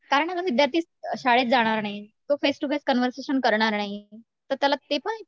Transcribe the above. कारण हा विद्यार्थी शाळेत जाणार नाही, तो फेस टु फेस कॉन्वरसेशन करणार नाही तर त्याला ते पण